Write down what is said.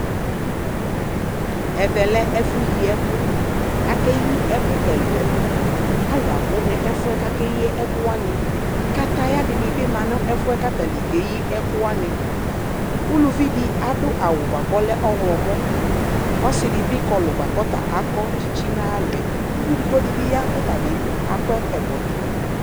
Ɛvɛ lɛ ɛfuyi ɛkʋ Akeyi ɛkʋ ɛlu ɛluAlu abʋ nɛfuɛ kakeyi ɛkʋwaniKataya dini bi ma nʋ ɛfuɛ katani keyi ɛkʋwaniUluvi di adʋ awu buakʋ ɔlɛ ɔɣlɔmɔƆsidibi kɔlu buakʋ ɔta akɔ tsitsi nayalɔɛUvi edigbo dibi ya kɔtabi akɔ ɛkɔtɔ